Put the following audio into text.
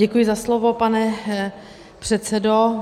Děkuji za slovo, pane předsedo.